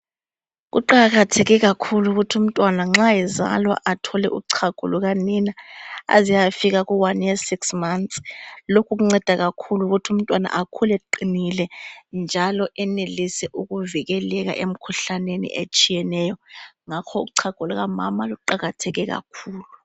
Kuqakatheke kakhulu ukuthi umntwana nxa ezalwa athole uchago lukanina aze ayefika ku one year six months. Lokhu kunceda kakhulu ukuthi umntwana akhule eqinile njalo enelise ukuvikeleka emkhuhlaneni etshiyeneyo. Ngakho uchago lukamama luqakatheke kakhulu.